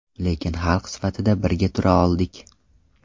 Lekin xalq sifatida birga tura oldik.